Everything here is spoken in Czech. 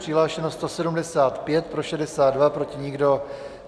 Přihlášeno 175, pro 62, proti nikdo.